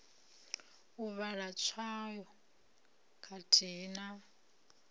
u vhala tswayo khathihi na